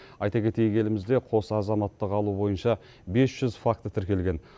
айта кетейік елімізде қос азаматтық алу бойынша бес жүз факті тіркелген